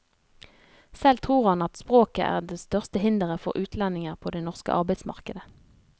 Selv tror han at språket er det største hindret for utlendinger på det norske arbeidsmarkedet.